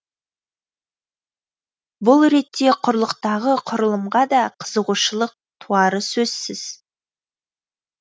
бұл ретте құрлықтағы құрылымға да қызығушылық туары сөзсіз